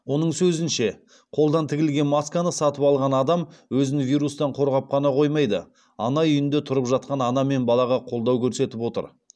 оның сөзінше қолдан тігілген масканы сатып алған адам өзін вирустан қорғап қана қоймайды ана үйінде тұрып жатқан ана мен балаға қолдау көрсетіп отыр